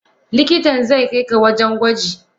Likitan zaikaika wajen gwaji.